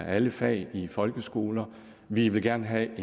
alle fag i folkeskoler vi vil gerne have